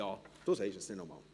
Du sagst es dann noch einmal.